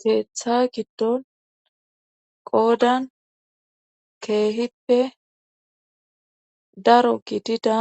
Keeththa giddon qoodan keehippe daro gidida